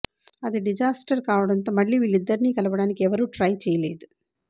అది డిజాస్టర్ కావడంతో మళ్లీ వీళ్లిద్దరినీ కలపడానికి ఎవరూ ట్రై చేయలేదు